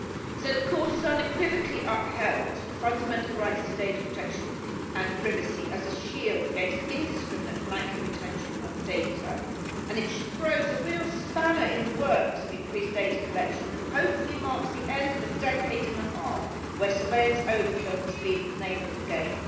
So the Court has unequivocally upheld fundamental rights to data protection and privacy as a shield against indiscriminate blanket retention of data. It throws a real spanner in the works of increased data collection and, hopefully, marks the end of a decade and a half where surveillance overkill has been the name of the game.